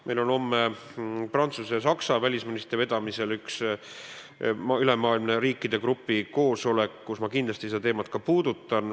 Meil on homme Prantsuse ja Saksa välisministri vedamisel üks ülemaailmne riikide grupi koosolek, kus ma kindlasti seda teemat ka puudutan.